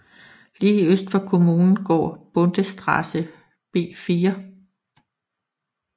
Lige øst for kommunen går Bundesstraße B 4